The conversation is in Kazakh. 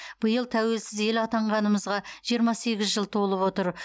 биыл тәуелсіз ел атанғанымызға жиырма сегіз жыл толып отыр